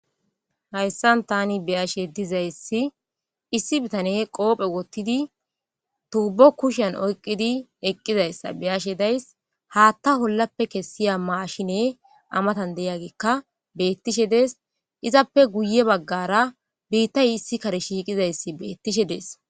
Hayssan tani beyashe dizayssi issi bitane qoophe wottidi tuubo kushan oyqqidi eqqizayssa beyashe days haatta hollappe kessiya maashine amatan deyagikka bettishe dees izappe guye baggara biittay issi kare shiiqizayssi beettishe dees